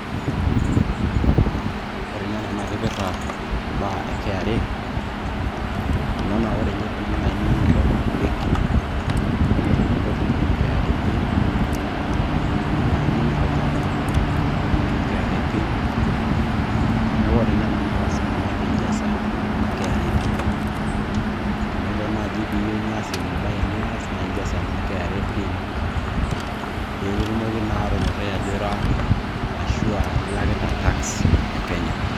Ore na ena nakipirta imbaa e KRA, kuna na ore nye nai pilo nibol ebenki ino, nikimpotunyeki KRA pin. Teniyieu nai nimir olchamba lino nikimpotunyeki KRA pin. Neeku ore na ena na lasima pijasa ena KRA pin. Tenelo nai piyueu nias ebae nias, na ijasa ena KRA pin, pikitumokini naa atonyorrai ajo aira arashu ailakita tax e Kenya.